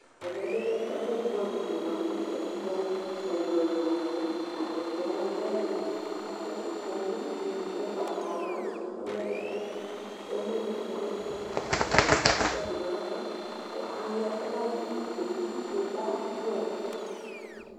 Ɛmɛbi lɛ ɛfʋ bʋɛamʋ di bʋakʋ ɛkplɔ ɛlʋ ɛlʋ laya ɛkplɔ wani lɛ ɛla bʋakʋ ŋkpɔnʋ dʋ nʋ ʋgbatawla ɔlɛ bʋakʋ ŋkpɔnʋ di atani atɛdʋ nʋ ava kʋ ala ɛkʋ ladʋ nʋ utipa yɛ kʋ ʋtikpa yɛ abʋamʋ